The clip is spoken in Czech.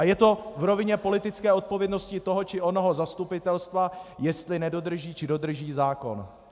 A je to v rovině politické odpovědnosti toho či onoho zastupitelstva, jestli nedodrží, či dodrží zákon.